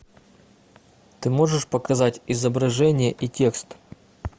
ты можешь показать изображение и текст